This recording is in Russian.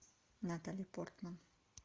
натали портман